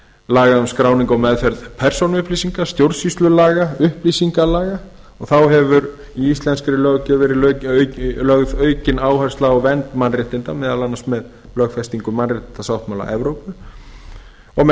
laga um skráningu og meðferð persónuupplýsinga stjórnsýslulaga og upplýsingalaga þá hefur í íslenskri löggjöf verið lögð aukin áhersla á vernd mannréttinda meðal annars með lögfestingu mannréttindasáttmála evrópu og með